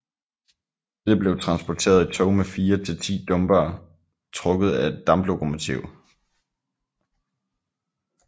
Dette blev transporteret i tog med fire til ti dumpere trukket af et damplokomotiv